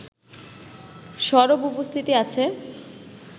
সরব উপস্থিতি আছে